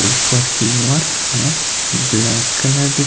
ऊपर की ओर हमें ब्लैक कलर दि--